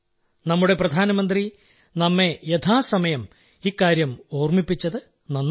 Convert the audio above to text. നമ്മുടെ പ്രധാനമന്ത്രി നമ്മെ യഥാസമയം ഇക്കാര്യം ഓർമ്മിപ്പിച്ചത് നന്നായി